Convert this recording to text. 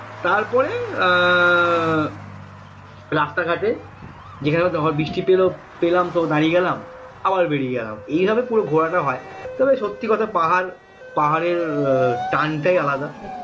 তারপরে রাস্তাঘাটে যেখানে বৃষ্টি পেলাম তো দাঁড়িয়ে গেলাম আবার বেরিয়ে গেলাম এইভাবে পুরো ঘোড়াটা হয় তবে সত্যি কথা পাহাড় পাহাড়ের টান টাই আলাদা